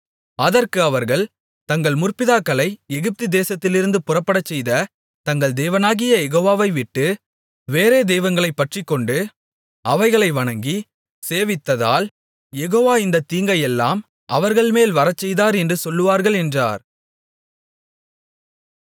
அதற்கு அவர்கள் தங்கள் முற்பிதாக்களை எகிப்து தேசத்திலிருந்து புறப்படச்செய்த தங்கள் தேவனாகிய யெகோவாவைவிட்டு வேறே தெய்வங்களைப் பற்றிக்கொண்டு அவைகளை வணங்கி சேவித்ததால் யெகோவா இந்தத் தீங்கையெல்லாம் அவர்கள்மேல் வரச்செய்தார் என்று சொல்லுவார்கள் என்றார்